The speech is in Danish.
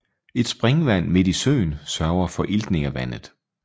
Et springvand midt i søen sørger for iltning af vandet